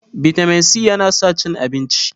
vitamin c yana sa cin abinci